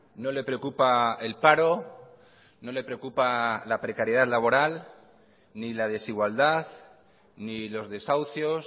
no le preocupa el paro no le preocupa la precariedad laboral ni la desigualdad ni los desahucios